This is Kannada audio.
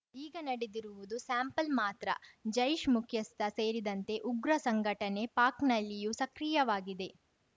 ಈಗ ನಡೆದಿರುವುದು ಸ್ಯಾಂಪಲ್‌ ಮಾತ್ರ ಜೈಷ್‌ ಮುಖ್ಯಸ್ಥ ಸೇರಿದಂತೆ ಉಗ್ರ ಸಂಘಟನೆ ಪಾಕ್‌ನಲ್ಲಿಯೂ ಸಕ್ರಿಯವಾಗಿದೆ